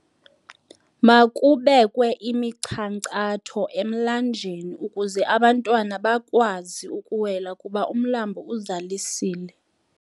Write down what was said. Makubekwe imichankcatho emlanjeni ukuze abantwana bakwazi ukuwela kuba umlambo uzalisile.